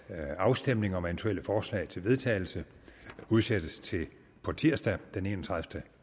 afstemning om eventuelle forslag til vedtagelse udsættes til på tirsdag den enogtredivete